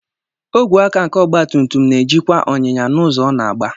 Ógwé áká nke ọgbatùmtùm na-ejikwa ọnyịnya n'ụzọ ọ na-aga.